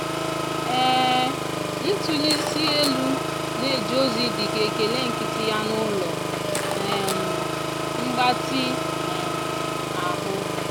um ntụli isi elu na-eje ozi dị ka ekele nkịtị ya n'ụlọ um mgbatị um ahụ.